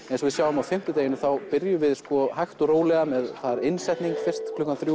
eins og við sjáum á fimmtudag það byrjar hægt og rólega með innsetningu klukkan þrjú